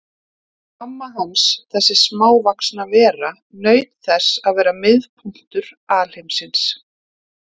Mamma hans, þessi smávaxna vera, naut þess að vera miðpunktur alheimsins.